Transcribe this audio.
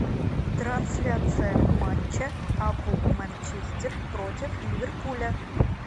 трансляция матча апл манчестер против ливерпуля